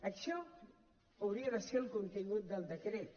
això hauria de ser el contingut del decret